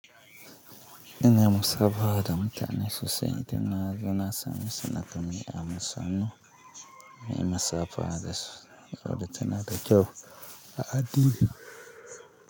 Ina musabaha da mutane sosai, ita na tuna sane sana kami amun sannu. Mai musabaha da sau saboda tana da kyau a addini.